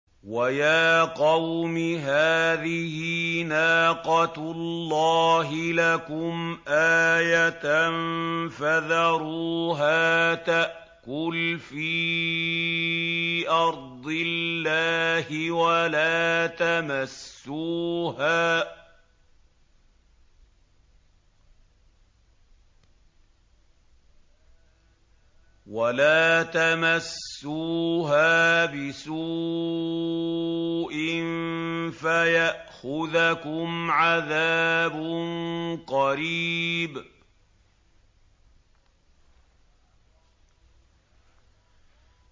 وَيَا قَوْمِ هَٰذِهِ نَاقَةُ اللَّهِ لَكُمْ آيَةً فَذَرُوهَا تَأْكُلْ فِي أَرْضِ اللَّهِ وَلَا تَمَسُّوهَا بِسُوءٍ فَيَأْخُذَكُمْ عَذَابٌ قَرِيبٌ